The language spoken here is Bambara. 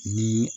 Ni